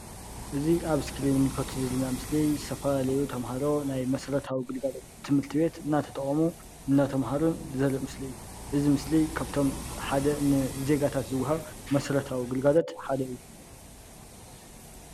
እዚ አብ እስክሪን እንምልኮቶ ዘለና ምስሊ ዝተፈላለዩ ተማሃሮ ናይ መስረታዊ ግልጋሎት ትምህርት ቤተ እናተጠቅሙን እናተማህሩን ዘርኢ ምስሊ እዩ፡፡ እዚ ምስሊ ካብቶም ን ሓደ ዜጋታት ዝወሃብ መሰረታዊ አገልግሎት ሓደ እዩ።